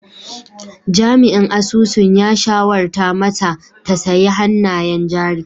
Jami'in asusun ya shawarta mata ta sayi hannayen jari!